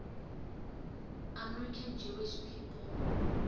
american jewish people